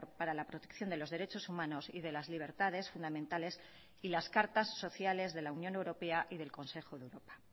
para la protección de los derechos humanos y de las libertades fundamentales y las cartas sociales de la unión europea y del consejo de europa